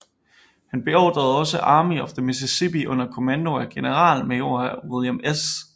Han beordrede også Army of the Mississippi under kommando af generalmajor William S